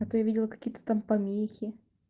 а то я видела какие-то там помехи